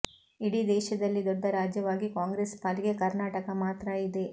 ಇಡೀ ದೇಶದಲ್ಲಿ ದೊಡ್ಡ ರಾಜ್ಯವಾಗಿ ಕಾಂಗ್ರೆಸ್ ಪಾಲಿಗೆ ಕರ್ನಾಟಕ ಮಾತ್ರ ಇದೆ